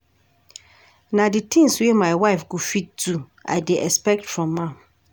Na di tins wey my wife go fit do I dey expect from am.